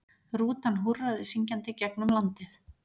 Rútan húrraði syngjandi gegnum landið.